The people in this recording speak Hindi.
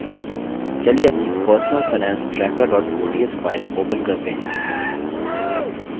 चलिए अपनी personal finance tracker ods file open करते हैं